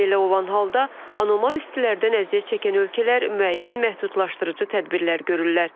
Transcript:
Belə olan halda anormal istilərdən əziyyət çəkən ölkələr müəyyən məhdudlaşdırıcı tədbirlər görürlər.